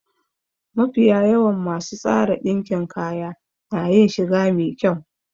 Mafiya yawan masu tsara ɗinkin kaya na yin shiga me kyau